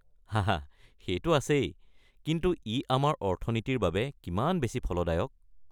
হাহা, সেইটো আছেই, কিন্তু ই আমাৰ অৰ্থনীতিৰ বাবে কিমান বেছি ফলদায়ক!